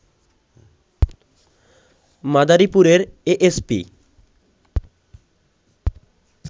মাদারীপুরের এএসপি